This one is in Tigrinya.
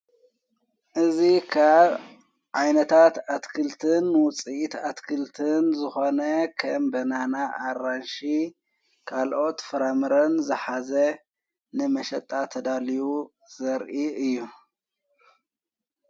እዙ ኻብ ዓይነታት ኣትክልትን ውፂእት ኣትክልትን ዝኾነ ከም በናና ኣራንሺ ካልኦት ፍራምርን ዘኃዘ ንመሸጣ ተዳልዩ ዘርኢ እዩ::